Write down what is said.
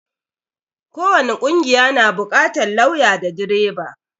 ko wani ƙungiya na buƙatar lauya da direba